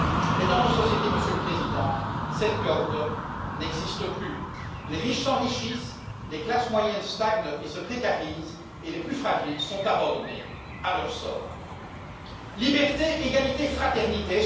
Mais, dans nos sociétés, Monsieur le Président, cette corde n'existe plus les riches s'enrichissent, les classes moyennes stagnent et se précarisent, et les plus fragiles sont abandonnés à leur sort. Liberté, égalité, fraternité.